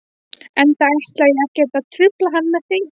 Enda ætla ég ekkert að trufla hann með því.